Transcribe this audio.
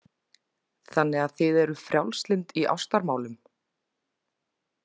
Þannig að þið eruð frjálslynd í ástamálum.